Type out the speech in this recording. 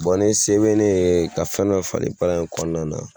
ni se bɛ ne ye ka fɛn dɔ falen baara in kɔnɔna na.